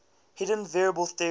hidden variable theory